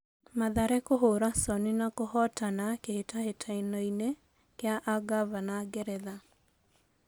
Mathare kũhũra Soni na kũhotana kĩ hĩ tahĩ tanoinĩ kĩ a ngaavana Ngeretha.